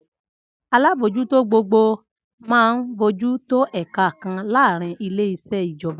Alábòójútó gbogbogbò máa ń bójú tó ẹ̀ka kan láàárín ile-iṣẹ ijọba.